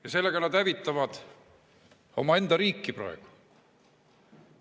Ja sellega nad hävitavad omaenda riiki praegu.